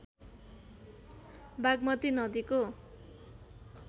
बागमती नदीको